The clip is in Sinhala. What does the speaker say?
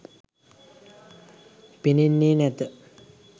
පෙනෙන්නේ නැත.